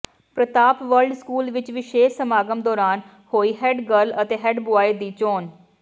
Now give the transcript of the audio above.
ਪ੍ਰਤਾਪ world school ਵਿਚ ਵਿਸ਼ੇਸ਼ ਸਮਾਗਮ ਦੌਰਾਨ ਹੋਈ ਹੈੱਡ ਗਰਲ ਅਤੇ ਹੈੱਡ ਬੁਆਏ ਦੀ ਚੋਣ